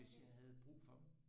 Hvis jeg havde brug for dem